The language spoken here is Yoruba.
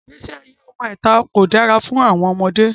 Igbesi aye ọmọ ita ko dara fun àwọn ọmọde.